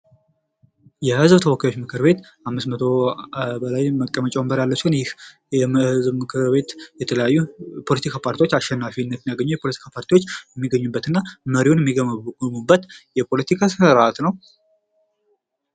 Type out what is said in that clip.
የህዝብ ተወካዮች ምክርቤት ከአምስት መቶ በላይ መቀመጫ ያለው ሲሆን ይህ ምክርቤት የተለያዩ ፖለቲካ ፓርቲዎች አሸናፊነትን ያግኘ የፖለቲካ ፓርቲዎች የሚገኙበት እና መሪውን የሚገመግሙበት የፖለቲካ ስርዓት ነው::